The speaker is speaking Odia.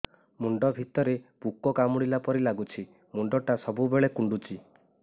ମୁଣ୍ଡ ଭିତରେ ପୁକ କାମୁଡ଼ିଲା ପରି ଲାଗୁଛି ମୁଣ୍ଡ ଟା ସବୁବେଳେ କୁଣ୍ଡୁଚି